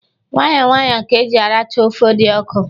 Nwayọ nwayọ ka e ji aracha ọfe dị ọkụ.